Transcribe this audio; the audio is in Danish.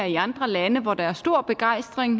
i andre lande hvor der er stor begejstring